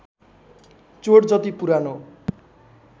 चोट जति पुरानो